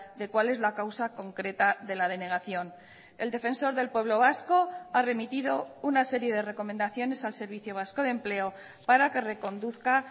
de cuál es la causa concreta de la denegación el defensor del pueblo vasco ha remitido una serie de recomendaciones al servicio vasco de empleo para que reconduzca